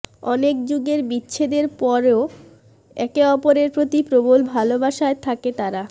অনেক যুগের বিচ্ছেদের পরেও একে অপরের প্রতি প্রবল ভালোবাসায় থাকে তারা